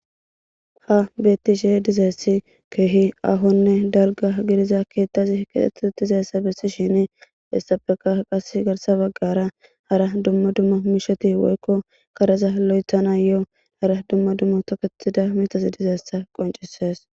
ha beettishi dizaessi keehi ahonne dalga gidiza keettazi kietutizassa bessi shini hessappeka qas garsa baggara hara dumma dumma misheti woykko kareza lo7etana yo hara dumma dumma toketida mitas dizeessa qoncisees